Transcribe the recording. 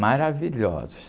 Maravilhosos.